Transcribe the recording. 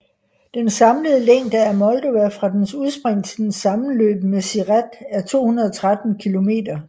Den samlede længde af Moldova fra dens udspring til dens sammenløb med Siret er 213 km